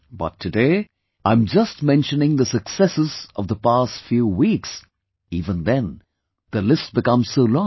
But, today, I am just mentioning the successes of the past few weeks, even then the list becomes so long